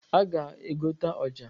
A ga-egota ọja.